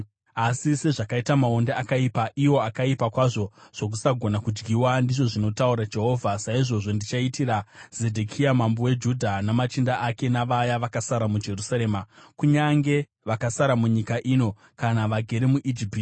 “ ‘Asi sezvakaita maonde akaipa, iwo akaipa kwazvo zvokusagona kudyiwa,’ ndizvo zvinotaura Jehovha, ‘saizvozvo ndichaitira Zedhekia mambo weJudha, namachinda ake, navaya vakasara muJerusarema, kunyange vakasara munyika ino kana vagere muIjipiti.